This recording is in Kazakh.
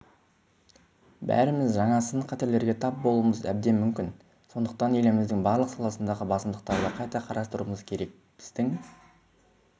бәріміз жаңа сын-қатерлерге тап болуымыз әбден мүмкін сондықтан еліміздің барлық саласындағы басымдықтарды қайта қарастыруымыз керек біздің